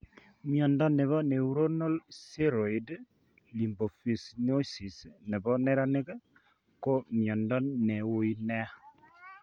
Mnyondo nebo neuronal ceroid lipofuscinosis nebo neranik ko mnyondo ne uui ne